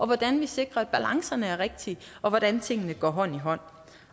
hvordan vi sikrer at balancerne er rigtige og hvordan tingene går hånd i hånd